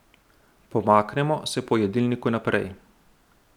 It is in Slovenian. Pomaknemo se po jedilniku naprej.